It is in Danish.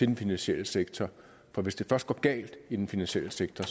den finansielle sektor for hvis det først går galt i den finansielle sektor